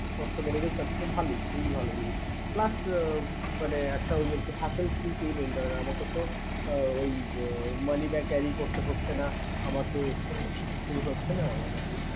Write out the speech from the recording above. Cost বেড়ে গেছে ভালোই খুবই ভালো plus মানে ঐ একটা আরকি hassel free payment mane ঐ অনেক তো ঐ money bag carry করতে হচ্ছে না